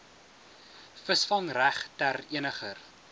visvangreg ter eniger